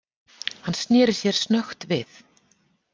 Hann sneri sér snöggt við.